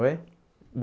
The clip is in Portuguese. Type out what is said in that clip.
Oi?